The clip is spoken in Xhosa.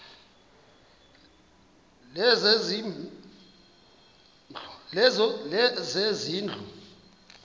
lezezindlu